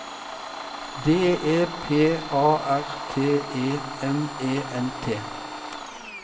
D E P A R T E M E N T